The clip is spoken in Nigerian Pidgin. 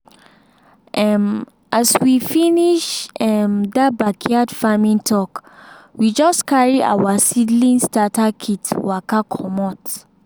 um as we finish um that backyard farming talk we just carry our seedling starter kit waka comot.